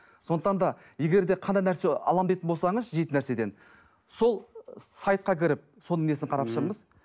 сондықтан да егер де қандай нәрсе аламын дейтін болсаңыз жейтін нәрседен сол сайтқа кіріп соның несін қарап шығыңыз